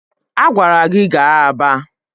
A gwara gi gaa Aba!